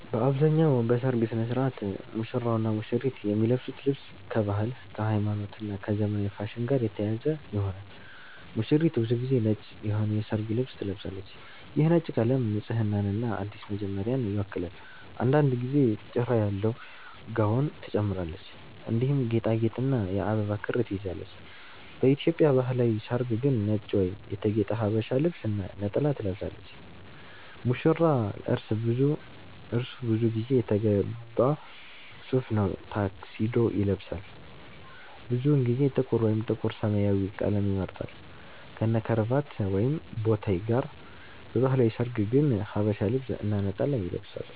በአብዛኛው በሠርግ ሥነ ሥርዓት ሙሽራውና ሙሽሪት የሚለብሱት ልብስ ከባህል፣ ከሃይማኖት እና ከዘመናዊ ፋሽን ጋር የተያያዘ ይሆናል። ሙሽሪት ብዙ ጊዜ ነጭ የሆነ የሠርግ ልብስ ትለብሳለች። ይህ ነጭ ቀለም ንጽህናንና አዲስ መጀመሪያን ይወክላል። አንዳንድ ጊዜ ጭራ ያለው ጋውን ትጨምራለች፣ እንዲሁም ጌጣጌጥና የአበባ ክር ትይዛለች። በኢትዮጵያ ባህላዊ ሠርግ ግን ነጭ ወይም የተጌጠ ሀበሻ ልብስ እና ነጠላ ትለብሳለች። ሙሽራ : እርሱ ብዙ ጊዜ የተገባ ሱፍ ወይም ታክሲዶ ይለብሳል። ብዙውን ጊዜ ጥቁር ወይም ጥቁር-ሰማያዊ ቀለም ይመርጣል፣ ከነክራቫት ወይም ቦታይ ጋር። በባህላዊ ሠርግ ግን ሐበሻ ልብስ እና ነጠላ ይለብሳል።